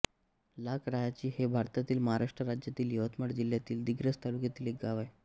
लाख रायाची हे भारतातील महाराष्ट्र राज्यातील यवतमाळ जिल्ह्यातील दिग्रस तालुक्यातील एक गाव आहे